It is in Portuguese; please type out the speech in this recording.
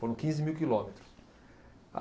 Foram quinze mil quilômetros.